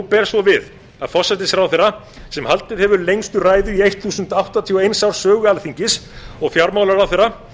ber svo við að forsætisráðherra sem haldið hefur lengstu ræðu í þúsund og áttatíu og eins árs sögu alþingis og fjármálaráðherra